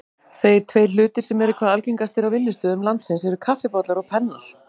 Þeir tveir hlutir sem eru hvað algengastir á vinnustöðum landsins eru kaffibollar og pennar.